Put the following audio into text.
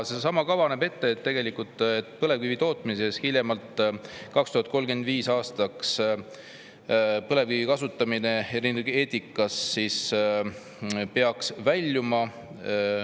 Seesama kava näeb ette, et tegelikult hiljemalt 2035. aastaks peaks põlevkivienergeetikast väljuma.